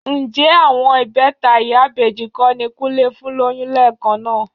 Ǹjẹ́ àwọn ìbẹta ìyá ìbejì kọ́ ni Kúnlé fún lóyún lẹ́ẹ̀kan náà?